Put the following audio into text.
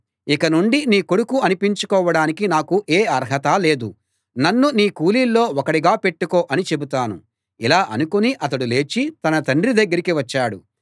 ఇక నుండి నీ కొడుకు అనిపించుకోవడానికి నాకు ఏ అర్హతా లేదు నన్ను నీ కూలీల్లో ఒకడిగా పెట్టుకో అని చెబుతాను ఇలా అనుకుని అతడు లేచి తన తండ్రి దగ్గరికి వచ్చాడు